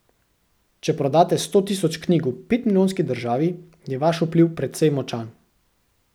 Če prodate sto tisoč knjig v petmilijonski državi, je vaš vpliv precej močan.